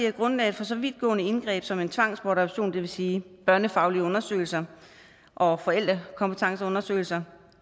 at grundlaget for så vidtgående indgreb som en tvangsbortadoption det vil sige børnefaglige undersøgelser og forældrekompetenceundersøgelser